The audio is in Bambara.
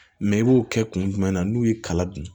Mɛ i b'o kɛ kun jumɛn na n'u ye kala dun